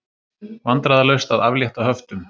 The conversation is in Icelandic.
Vandræðalaust að aflétta höftum